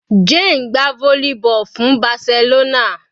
Jane ń gbá volleyball fún Barcelona.